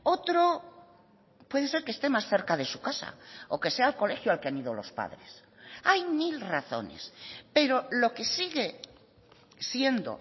otro puede ser que esté más cerca de su casa o que sea el colegio al que han ido los padres hay mil razones pero lo que sigue siendo